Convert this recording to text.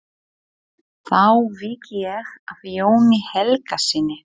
Þá vík ég að Jóni Helgasyni.